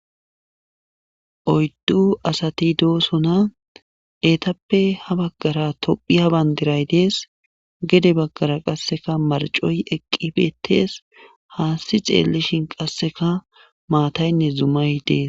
oyddu asati doosona eetappe ha baggara tophiya bandiray dees gede baggara qasseka marcoy eqqi betees haasti xeellishin qasseka maataynne zumay dees